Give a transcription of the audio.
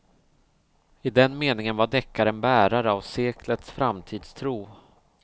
I den meningen var deckaren bärare av seklets framtidstro.